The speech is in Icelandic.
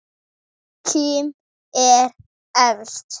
Kim er efst.